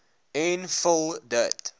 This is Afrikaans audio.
en vul dit